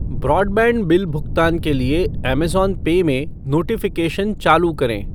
Broadband bill भुगतान के लिए ऐमेज़ॉन पे में नोटिफ़िकेशन चालू करें ।